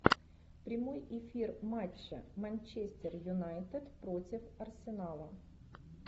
прямой эфир матча манчестер юнайтед против арсенала